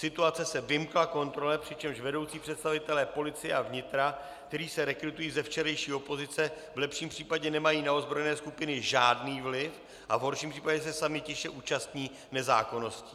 Situace se vymkla kontrole, přičemž vedoucí představitelé policie a vnitra, kteří se rekrutují ze včerejší opozice, v lepším případě nemají na ozbrojené skupiny žádný vliv a v horším případě se sami tiše účastní nezákonností.